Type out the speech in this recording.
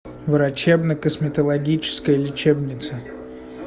врачебно косметологическая лечебница